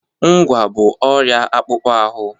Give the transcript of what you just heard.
Ngwá bụ ọrịa akpụkpọ ahụ.